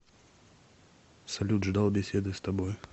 салют ждал беседы с тобой